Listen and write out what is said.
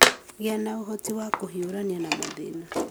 Gĩa na ũhoti wa kũhiũrania na mathĩna.